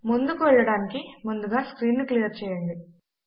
ముందుకు వెళ్ళటానికి ముందుగా స్క్రీన్ ను క్లియర్ చేయండి